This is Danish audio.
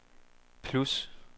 plus